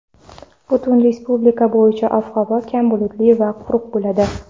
Butun respublika bo‘yicha ob-havo kam bulutli va quruq bo‘ladi.